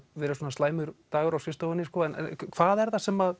verið svona slæmur dagur á skrifstofunni en hvað er það sem